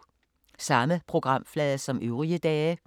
Samme programflade som øvrige dage